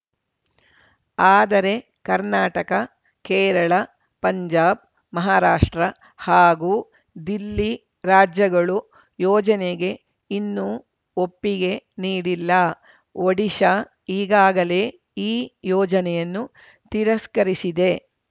ಆದರೆ ಕರ್ನಾಟಕ ಕೇರಳ ಪಂಜಾಬ್‌ ಮಹಾರಾಷ್ಟ್ರ ಹಾಗೂ ದಿಲ್ಲಿ ರಾಜ್ಯಗಳು ಯೋಜನೆಗೆ ಇನ್ನೂ ಒಪ್ಪಿಗೆ ನೀಡಿಲ್ಲ ಒಡಿಶಾ ಈಗಾಗಲೇ ಈ ಯೋಜನೆಯನ್ನು ತಿರಸ್ಕರಿಸಿದೆ